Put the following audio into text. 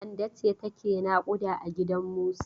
Kande ce take naƙuda a gidan Musa.